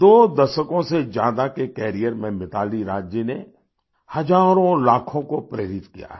दो दशकों से ज्यादा के कैरियर में मिताली राज जी ने हजारोंलाखों को प्रेरित किया है